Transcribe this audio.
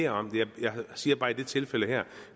om det jeg siger bare at i det tilfælde her